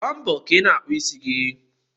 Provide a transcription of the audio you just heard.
Gbaa mbo ka ịna akpụ ịsị gi